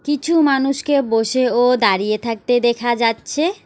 কিছু মানুষকে বসে ও দাঁড়িয়ে থাকতে দেখা যাচ্ছে।